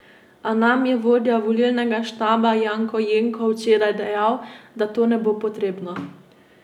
A nam je vodja volilnega štaba Janko Jenko včeraj dejal, da to ne bo potrebno.